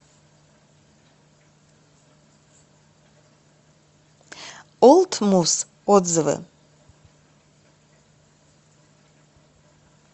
олд мус отзывы